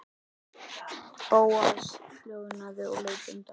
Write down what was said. Bóas hljóðnaði og leit undan.